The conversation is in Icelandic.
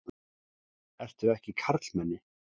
Ertu ekki karlmenni?